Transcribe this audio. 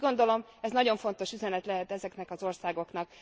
Úgy gondolom, ez nagyon fontos üzenet lehet ezeknek az országoknak.